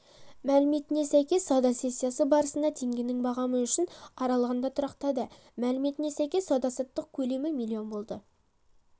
мәліметіне сәйкес сауда сессиясы барысында теңгенің бағамы үшін аралығында тұрақтады мәліметіне сәйкес сауда-саттық көлемі млн болды